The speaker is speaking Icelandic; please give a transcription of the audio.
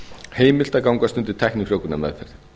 heimilt að gangast undir tæknifrjóvgunarmeðferð